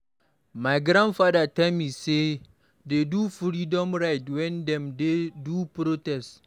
My grandfather tell me say dey do freedom ride wen dem dey do protest.